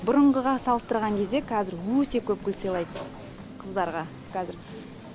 бұрынғыға салыстырған кезде кәзір өте көп гүл сыйлайды қыздарға кәзір